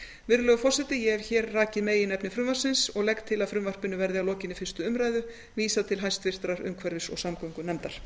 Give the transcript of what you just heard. virðulegur forseti ég hef rakið meginefni frumvarpsins og legg til að frumvarpinu verði að lokinni fyrstu umræðu vísað til háttvirtrar umhverfis og samgöngunefndar